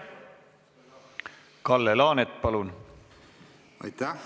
Kalle Laanet, palun!